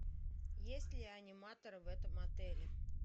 есть ли аниматор в этом отеле